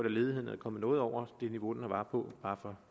at ledigheden er kommet noget over det niveau den var på